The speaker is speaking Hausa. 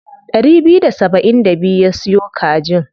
Ɗari biyu da saba'in da biyu ya siyo kajin.